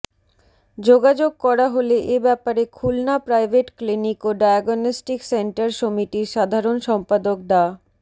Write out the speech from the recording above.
যোগাযোগ করা হলে এ ব্যাপারে খুলনা প্রাইভেট ক্লিনিক ও ডায়াগনস্টিক সেন্টার সমিতির সাধারণ সম্পাদক ডা